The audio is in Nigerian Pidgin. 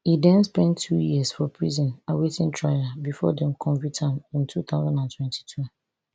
e den spend two years for prison awaiting trial bifor dem convict am in two thousand and twenty-two